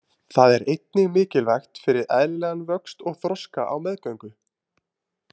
Það er einnig mikilvægt fyrir eðlilegan vöxt og þroska á meðgöngu.